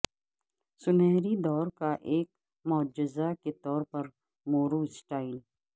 سنہری دور کا ایک معجزہ کے طور مورو سٹائل